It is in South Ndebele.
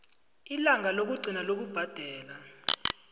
ilanga lokugcina lokubhadela